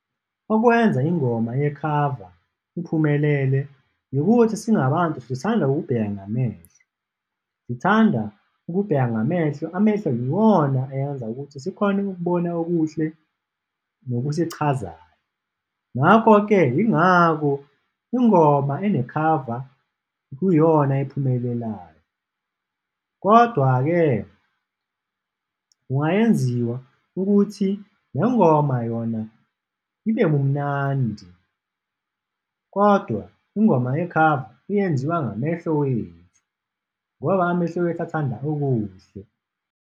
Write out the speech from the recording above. Okwenza ingoma yekhava iphumelele yikuthi singabantu sithanda ukubheka ngamehlo, sithanda ukubheka ngamehlo, amehlo yiwona ayenza ukuthi sikhone ukubona okuhle nokusichazayo, ngakho-ke yingakho ingoma ene khava kuyiyona ephumelelayo. Kodwa-ke kungayenziwa ukuthi nengoma yona ibe munandi kodwa ingoma yekhava iyenziwa ngamehlo wethu ngoba amehlo wethu athanda okuhle.